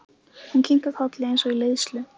Hún kinkar kolli eins og í leiðslu.